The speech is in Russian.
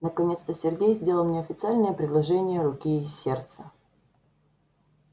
наконец-то сергей сделал мне официальное предложение руки и сердца